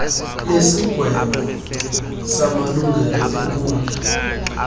lesigwebo samalungelo enkundla